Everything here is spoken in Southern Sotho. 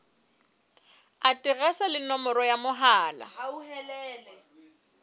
aterese le nomoro ya mohala